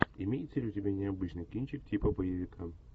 имеется ли у тебя необычный кинчик типа боевика